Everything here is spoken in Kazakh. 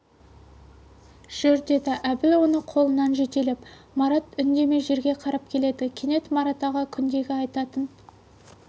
жүр деді әбіл оны қолынан жетелеп марат үндемей жерге қарап келеді кенет марат аға күндегі айтатын